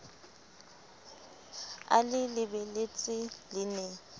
a le lebeletse le ne